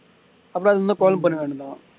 அப்புறம் அதுல இருந்து call பண்ண வேண்டிதான்